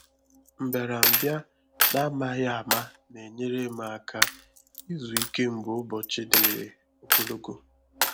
Mbịàrambịa n’ámàghị áma na-enyèrè m àkà ịzụ̀ íké mgbe Ụbọ́chí dịrị ogologo.